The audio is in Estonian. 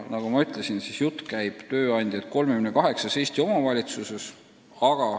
Nagu ma ütlesin, siis jutt käib tööandjatest 38 Eesti omavalitsuses.